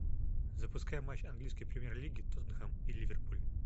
запускай матч английской премьер лиги тоттенхэм и ливерпуль